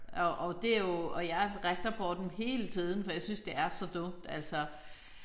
Og og det jo og jeg retter på dem hele tiden for jeg synes det er så dumt altså